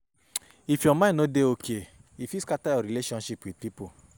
If your mind no dey okay, e fit scatter your relationship wit pipo.